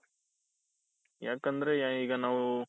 ಯಾಕಂದ್ರೆ ಈಗ ನಾವು.